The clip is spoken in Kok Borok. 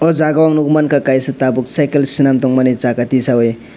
o jaga ang nogka kaisa tabok cycle selam tongmani jaga tisayoe.